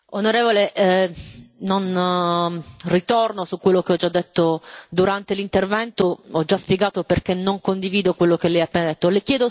Onorevole Kelly, non ritorno su quello che ho già detto durante l'intervento. Ho già spiegato perché non condivido quello che lei ha appena detto.